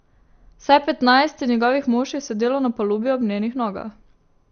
Vsaj petnajst njegovih mož je sedelo na palubi ob njenih nogah.